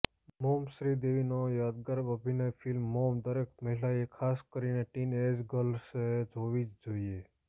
mom શ્રીદેવીનો યાદગાર અભિનયફિલ્મ મોમ દરેક મહિલાએ ખાસ કરીને ટિન એજ ગર્લ્સે જોવી જ જોઈએ